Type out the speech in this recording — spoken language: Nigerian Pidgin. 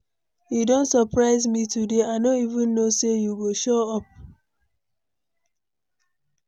You don surprise me today, I no even know say you go show up.